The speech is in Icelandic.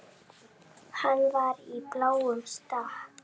Hann var í bláum stakk.